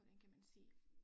Hvordan kan man sige